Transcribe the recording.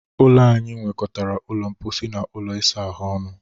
Ụlọ anyị nwekọtara ụlọ mposi na ụlọ isa ahụ ọnụ.